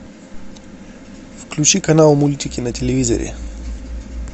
включи канал мультики на телевизоре